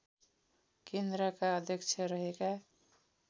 केन्द्रका अध्यक्ष रहेका